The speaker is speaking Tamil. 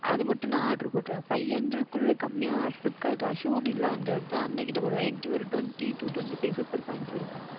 அது மற்றும் நான் Oder போடுகின்றேன் Five Hundred குள்ளயுமே Flipkart யில் Assured இல்லை என்கின்றதால் அண்ணாவிடம் போடுகின்றேன் என்னிடம் Twenty TwentyFive Supercoins இருக்கும்